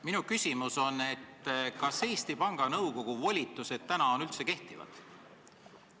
Minu küsimus on, kas Eesti Panga Nõukogu volitused praegu üldse kehtivad.